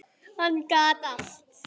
Hann gat allt.